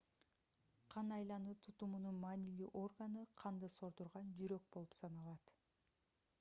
кан айлануу тутумунун маанилүү органы канды сордурган жүрөк болуп саналат